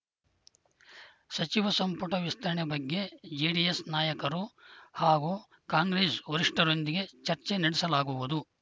ಸಚಿವ ಸಂಪುಟ ವಿಸ್ತರಣೆ ಬಗ್ಗೆ ಜೆಡಿಎಸ್‌ ನಾಯಕರು ಹಾಗೂ ಕಾಂಗ್ರೆಸ್‌ ವರಿಷ್ಠರೊಂದಿಗೆ ಚರ್ಚೆ ನಡೆಸಲಾಗುವುದು